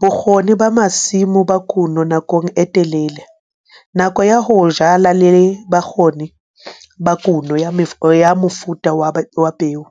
bokgoni ba masimo ba kuno nakong e telele, nako ya ho jala le bokgoni ba kuno ya mofuta wa peo.